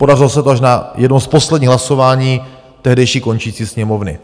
Podařilo se to až na jednom z posledních hlasování tehdejší končící Sněmovny.